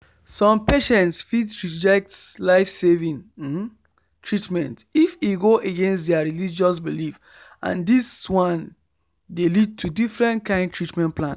some patients fit reject life saving treatment if e go against their religious belief and this one dey lead to different kind treatment plan